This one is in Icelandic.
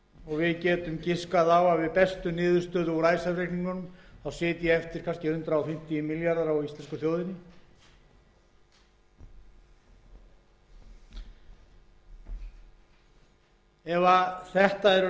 og við getum giskað á að við bestu niðurstöðu úr icesave reikningunum sitji kannski eftir hundrað fimmtíu milljarðar á íslensku þjóðinni ef það eru réttar ágiskanir sem er kannski nálægt því að vera skásta